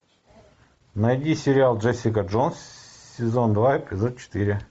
найди сериал джессика джонс сезон два эпизод четыре